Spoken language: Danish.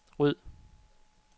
ryd